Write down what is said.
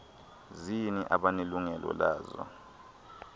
zini abanelungelo lazo